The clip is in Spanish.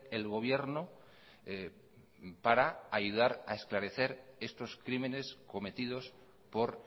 el gobierno para ayudar a esclarecer estos crímenes cometidos por